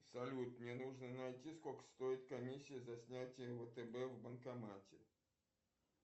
салют мне нужно найти сколько стоит комиссия за снятие втб в банкомате